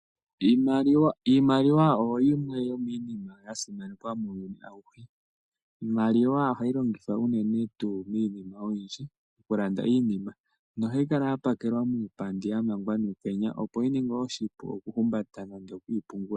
Iimaliwa oyo yimwe yomiinima ya simanekwa muuyuni auhe. Iimaliwa ohayi longithwa unene miinima oyindji, okulanda iinima nohayi kala ya pakelwa muupandi ya mangwa nuukenya, opo yi ninge oshipu okuyi humbata nenge okuyi pungula.